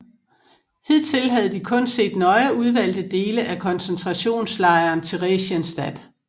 Hidtil havde de kun set nøje udvalgte dele af koncentrationslejren Theresienstadt